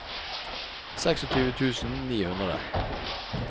tjueseks tusen ni hundre